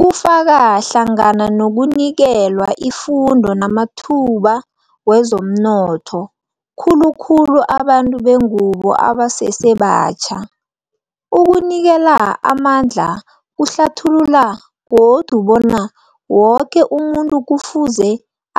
Kufaka hlangana nokunikelwa ifundo namathuba wezomnotho, khulukhulu abantu bengubo abasesebatjha. Ukunikela amandla kuhlathulula godu bona woke umuntu kufuze